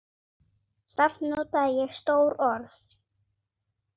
Samt notaði ég stór orð.